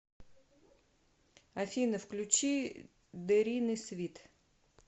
афина включи дэринэ свит